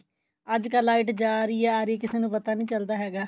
ਅੱਜਕਲ light ਜਾ ਰਹੀ ਹੈ ਆ ਰਹੀ ਹੈ ਕਿਸੇ ਨੂੰ ਪਤਾ ਨਹੀਂ ਚੱਲਦਾ ਹੈਗਾ